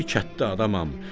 Bir kətdə adamam,